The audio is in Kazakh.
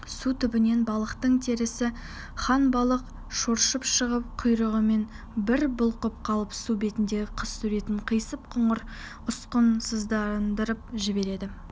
су түбінен балықтың төресі ханбалық шоршып шығып құйрығын бір бұлқып қалып су бетіндегі қыз суретін қисық-қыңыр ұсқынсыздандырып жібереді